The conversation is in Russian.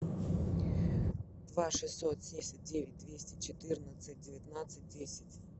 два шестьсот десять девять двести четырнадцать девятнадцать десять